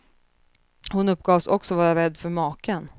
Hon uppgavs också vara rädd för maken.